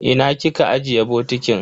Ina kika ajiye bokitin?